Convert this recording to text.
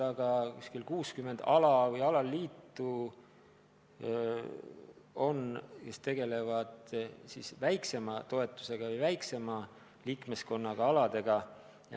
Ka on meil umbes 60 alaliitu, kes tegutsevad väiksema toetusega ja kelle liikmeskond on väiksem.